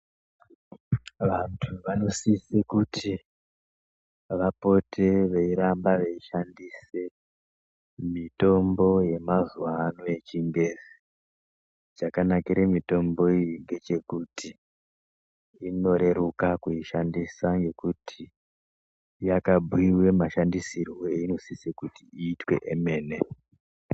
Vantu vonosise kuti vapote veirapwa veishandise mitombo yemazuva ano yechingezi chakanakire mitombo iyi ndechekuti inoreruka kuishandisa nekuti yakabhuyiwa mashandisirwo eyinosise kuti iitwe kwemene.